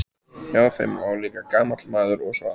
Hjá þeim lá líka gamall maður og svaf.